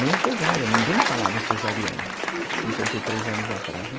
Nem cesárea, ninguém falava em cesariana, uhum, há cinquenta anos atrás, né?